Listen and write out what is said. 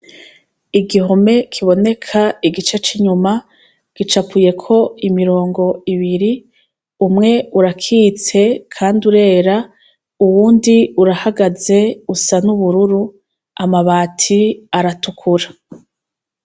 Igihome kiboneka igice c'inyuma gicapuyeko imirongo ibiri. Umwe urakitse kandi urera uwundi urahagaze usa n'ubururu, amabati aratukura.